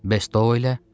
Bəs Doyle?